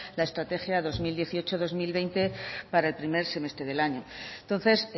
la estrategia dos mil dieciocho dos mil veinte para el primer semestre del año entonces